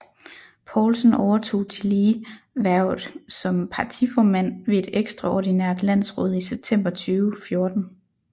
Poulsen overtog tillige hvervet som partiformand ved et ekstraordinært landsråd i september 2014